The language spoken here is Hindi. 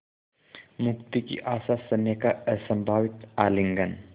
मुक्ति की आशास्नेह का असंभावित आलिंगन